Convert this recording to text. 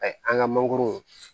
an ka mangoro